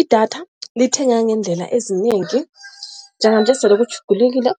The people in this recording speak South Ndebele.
Idatha lithengeka ngeendlela ezinengi njenganje sele kutjhugulukile,